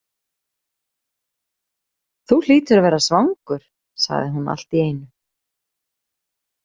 Þú hlýtur að vera svangur, sagði hún allt í einu.